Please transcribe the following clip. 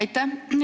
Aitäh!